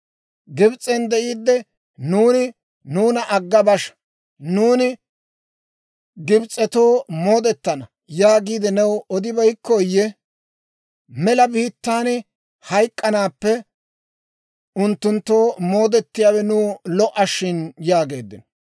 Gibs'en de'iidde nuuni, ‹Nuuna agga basha; nuuni Gibs'etoo moodetana› yaagiide new odibeykkooyye? Mela biittaan hayk'k'anaappe unttunttoo moodetiyaawe nuw lo"a shin» yaageeddino.